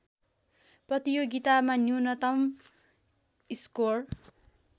प्रतियोगितामा न्यूनतम स्कोर